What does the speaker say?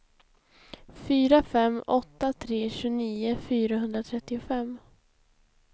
fyra fem åtta tre tjugonio fyrahundratrettiofem